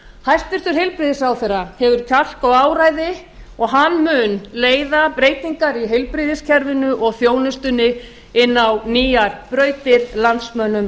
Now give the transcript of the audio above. hæstvirtur heilbrigðisráðherra hefur kjark og áræði og hann mun leiða breytingar í heilbrigðiskerfinu og þjónustunni inn á nýjar brautir landsmönnum